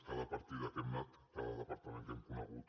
cada partida a què hem anat cada departament que hem conegut